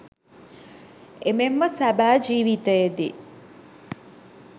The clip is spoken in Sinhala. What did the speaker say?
එමෙන්ම සැබෑ ජිවිතයේදී